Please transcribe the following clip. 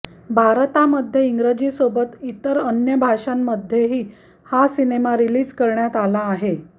भारतामध्ये इंग्रजीसोबत इतर अन्य भाषांमध्येही हा सिनेमा रीलिज करण्यात आला आहे